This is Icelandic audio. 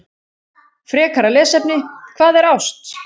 Frekara lesefni: Hvað er ást?